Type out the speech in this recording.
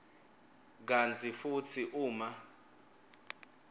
kantsi futsi uma